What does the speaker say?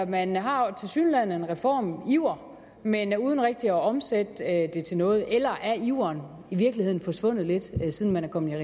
man har tilsyneladende en reformiver men uden rigtig at omsætte det til noget eller er iveren i virkeligheden forsvundet lidt siden man er kommet